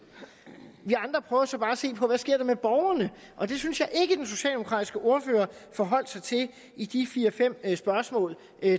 vi andre prøver så bare at se på hvad der sker med borgerne og det synes jeg ikke den socialdemokratiske ordfører forholdt sig til i de fire fem spørgsmål